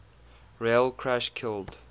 rail crash killed